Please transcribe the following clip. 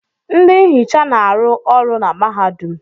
Ndị nhicha na-arụ ọrụ na mahadum.